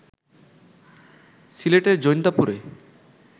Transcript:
সিলেটের জৈন্তাপুরে